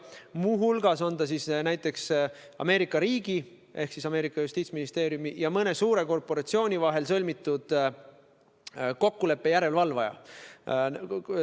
Muu hulgas on ta näiteks Ameerika Ühendriikide justiitsministeeriumi ja mõne suure korporatsiooni vahel sõlmitud kokkuleppe järelevalvaja.